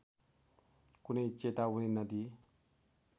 कुनै चेतावनी नदिई